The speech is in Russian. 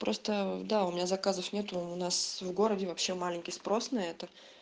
просто да у меня заказов нету у нас в городе вообще маленький спрос на это